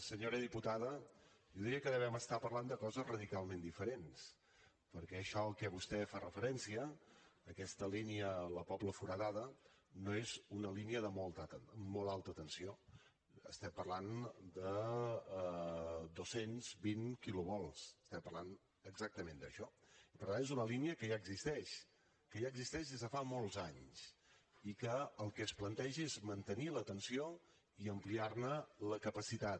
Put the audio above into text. senyora diputada jo diria que devem estar parlant de coses radicalment diferents perquè això a què vostè fa referència aquesta línia la pobla foradada no és una línia de molt alta tensió estem parlant de dos cents i vint kilovolts estem parlant exactament d’això i per tant és una línia que ja existeix que ja existeix des de fa molts anys i que el que es planteja és mantenir la tensió i ampliar ne la capacitat